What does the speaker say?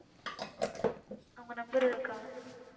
உம் அவங்க number இருக்கா